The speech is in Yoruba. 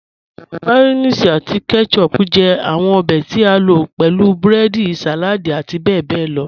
Mayonnaise ati ketchup jẹ awọn obè tí a lo pẹ̀lú breedi, saladi ati bẹbẹ lọ.